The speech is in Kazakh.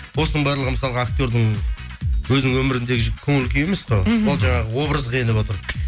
осының барлығы мысалға актердің өзінің өміріндегі көңіл күйі емес қой мхм ол жаңағы образға еніп отыр